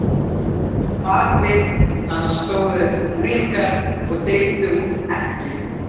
Á bak við hana stóðu unglingar og deildu út eggjum.